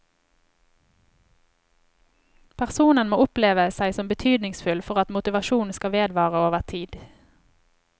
Personen må oppleve seg som betydningsfull for at motivasjonen skal vedvare over tid.